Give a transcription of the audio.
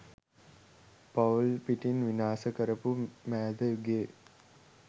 පවුල් පිටින් විනාස කරපු මෑත යුගයේ .